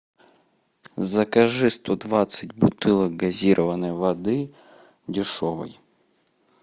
закажи сто двадцать бутылок газированной воды дешевой